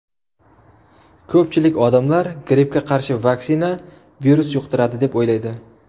Ko‘pchilik odamlar grippga qarshi vaksina virus yuqtiradi deb o‘ylaydi.